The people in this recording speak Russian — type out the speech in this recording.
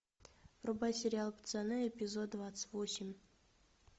врубай сериал пацаны эпизод двадцать восемь